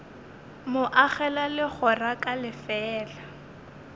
mo agela legora ka lefeela